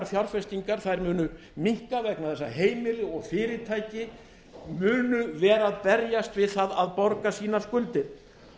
fjárfestingar munu minnka vegna þess að heimili og fyrirtæki munu vera að berjast við það að borga sínar skuldir